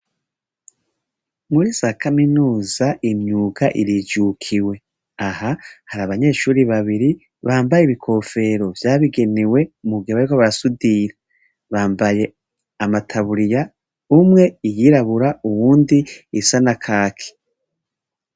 Muri za kaminuza imyuga irijukiwe aha hari abanyeshuri babiri bambaye ibikofero vyabigenewe mugabeko basudira bambaye amataburiya umwe iyirabura uwundi isa na kaki.